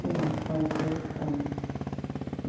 Sim, conheci ambos.